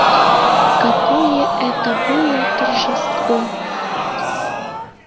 какое это было торжество